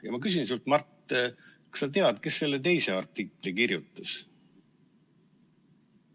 Ja ma küsin sinult, Mart, kas sa tead, kes selle teise artikli kirjutas.